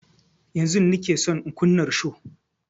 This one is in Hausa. Yanzun nike son in kunna risho